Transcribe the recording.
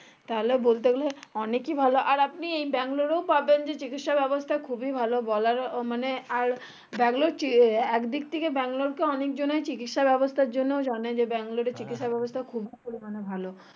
তাহলে বলতে গেলে অনেকই ভালো আর আপনি ব্যাঙ্গালোর এ ও পাবেন যে চিকিৎসা ব্যবস্থা খুবই ভালো মানে বলার আর ব্যাংলোর চির আর একদিক থেকে ব্যাঙ্গালোরকে অনেক জানাই চিকিৎসা ব্যাবস্থার জন্যে ও জানে যে ব্যাঙ্গালোর এ চিকিৎসা ব্যবস্থা খুবই পরিমানে ভালো